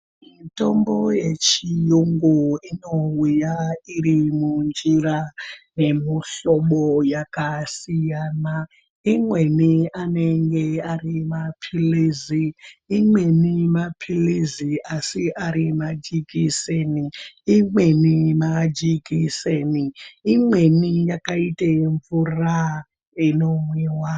Mitombo yechiyungu inouya iri munjira yemihlobo yakasiyana imweni anenge ari mapilizi, imweni mapilizi asi ari majekiseni, imweni majekiseni imweni yakaite mumvura inomwiwa.